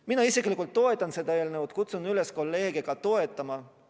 Mina isiklikult toetan seda eelnõu ja kutsun üles kolleege seda toetama.